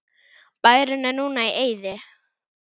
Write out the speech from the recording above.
Bærinn er núna í eyði.